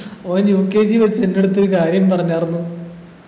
ഓൻ UKG വച്ചിട്ടെടുത്ത് ഒരു കാര്യം പറഞ്ഞാർന്നു